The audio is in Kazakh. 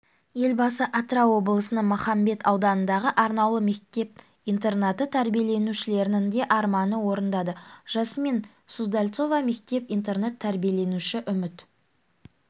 елбасы атырау облысының махамбет ауданындағы арнаулы мектеп-интернаты тәрбиеленушілерінің де арманын орындады жасмин суздальцова мектеп-интернат тәрбиеленушііі үміт